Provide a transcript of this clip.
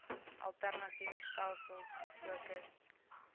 alternatiewe stelsels gefokus